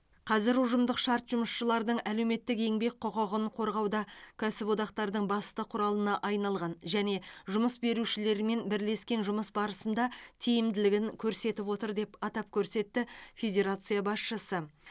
қазір ұжымдық шарт жұмысшылардың әлеуметтік еңбек құқығын қорғауда кәсіподақтардың басты құралына айналған және жұмыс берушілермен бірлескен жұмыс барысында тиімділігін көрсетіп отыр деп атап көрсетті федерация басшысы